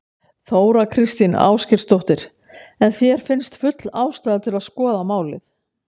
Þóra Kristín Ásgeirsdóttir: En þér finnst full ástæða til að skoða málið?